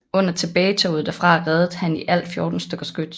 Under tilbagetoget derfra reddede han i alt 14 stykker skyts